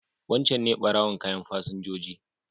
Wancan ne ɓarowan kayan fasinjoji.